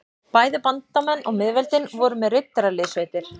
Bæði bandamenn og miðveldin voru með riddaraliðssveitir.